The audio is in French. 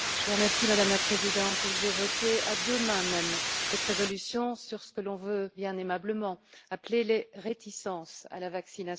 Madame la Présidente, j'ai voté à deux mains cette résolution sur ce que l'on veut bien aimablement appeler les réticences à la vaccination.